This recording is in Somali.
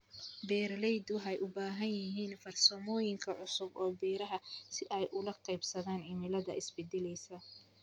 Beeraleydu waxay u baahan yihiin farsamooyin cusub oo beeraha ah si ay ula qabsadaan cimilada isbedelaysa.